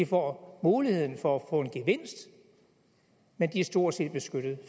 får muligheden for at få en gevinst men de er stort set beskyttet